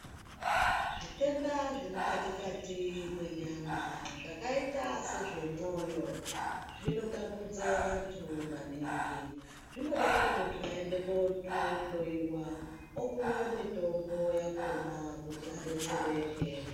Zvitenda zvemukati Kati menyama zvakaita semwoyo zvinotambudza vandu maningi zvoda kuti mundu aende kuhloiwa opuwa mutombo yacho kuti adetsereke.